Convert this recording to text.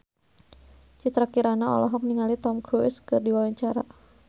Citra Kirana olohok ningali Tom Cruise keur diwawancara